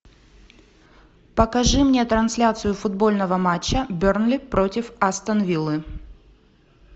покажи мне трансляцию футбольного матча бернли против астон виллы